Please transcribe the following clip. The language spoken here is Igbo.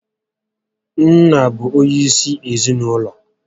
Nna bụ onyé isi ezinụlọ